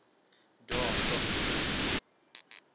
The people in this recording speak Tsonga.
dyondzo